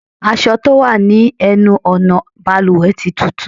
Aṣọ tó wà ní ẹnu ọ̀nà bàlùwẹ̀ tí túútúú.